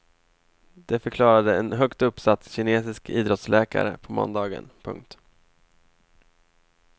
Det förklarade en högt uppsatt kinesisk idrottsläkare på måndagen. punkt